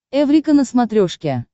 эврика на смотрешке